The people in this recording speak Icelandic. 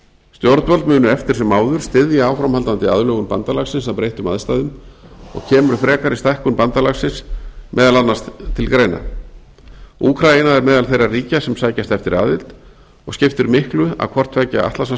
stjórnvöld munu eftir sem áður styðja áframhaldandi aðlögun bandalagsins að breyttum aðstæðum og kemur frekari stækkun bandalagsins meðal annars til greina úkraína er á meðal þeirra ríkja sem sækjast eftir aðild og skiptir miklu að hvort tveggja